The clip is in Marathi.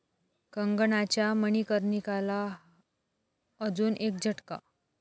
कंगनाच्या 'मणिकर्णिका'ला अजून एक झटका